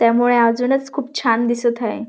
त्यामुळे अजूनच खूप छान दिसत हाय.